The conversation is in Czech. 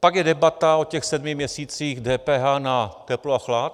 Pak je debata o těch sedmi měsících DPH na teplo a chlad.